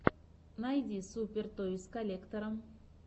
найди супер тойс коллектора